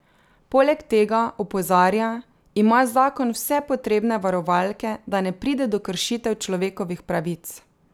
Poleg tega, opozarja, ima zakon vse potrebne varovalke, da ne pride do kršitev človekovih pravic.